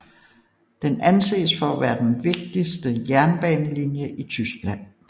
Den anses for at være den vigtigste jernbanelinje i Tyskland